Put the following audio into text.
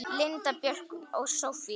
Linda Björk og Soffía.